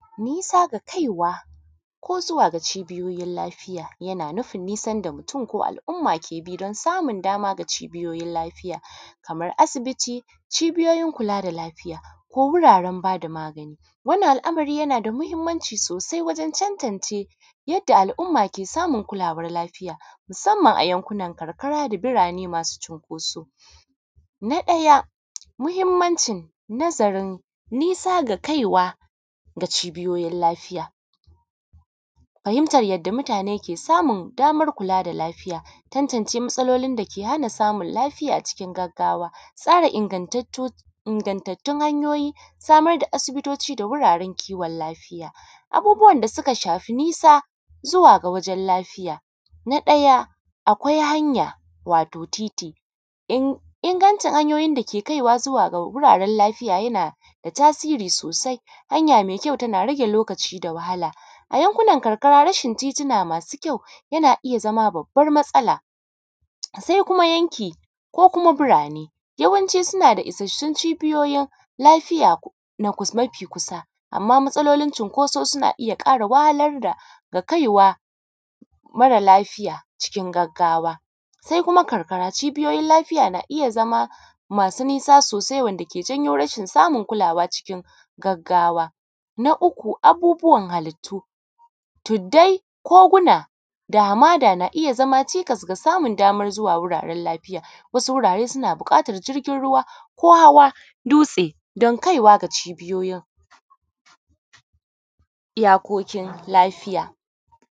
Nisa ga kaiwa ko zuwa ga cibiyoyin lafiya yana nufi nisan da mutum yake bi don samun da cibiyoyin lafiya kamar asibiti cibiyoyin kula da lafiya ko wuraren bada magani. Wannan al’amari yana da mahinmanci sosai wajen tantance yadda al’umma ke samun kulawar lafiya musamman a yankunan karkara da birane masu cunkoso, na ɗaya muhinmancin nazarin nisa ga kaiwa da cibiyoyin lafiya fahintan yadda mutane ke samun daman kula da lafiya. Tantance matsalolin dake hana samun lafiya cikin gaggawa, tsara ingatattun hanyoyi samar da asibitoci da wuraren kiwon lafiya, abubbuwan da suka shafi nisa zuwa ga wajen lafiya. Na ɗaya akwai hanya, wato titi ingancin hanyoyin da ke kai zuwa ga wuraren lafiya yana da tasiri sosai hanya me kyau tana rage lokaci da wahala a yankunan karkara, rashin titituna masu kyau yana iya zama babbar matsala, se kuma yanki ko kuma birane, yawanci suna da ishasshun cibiyoyin lafiya na kusa, mafi kusa. Amma matsalolin cunkoso suna iya ƙara wahalar da kaiwa mara lafiya cikin gaggawa, se kuma karkara cibiyoyin lafiya na iya zama masu nisa sosai wanda ke janyo rashin samun kulawa cikin gaggawa. Na uku, abubbuwan halittu tuddai ko gina dama na iya zama cikas na daman samun daman zuwa wuraren lafiya, wasu wurare suna buƙatan jirgin ruwa ko hawa dutse domin kaiwa da cibiyoyin iyakokin lafiya.